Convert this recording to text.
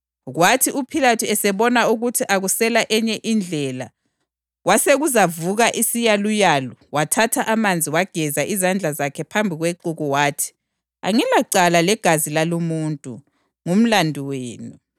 Kwathi uPhilathu esebona ukuthi akusela enye indlela, kwasekuzavuka isiyaluyalu, wathatha amanzi wageza izandla zakhe phambi kwexuku wathi, “Angilacala ngegazi lalumuntu. Ngumlandu wenu!”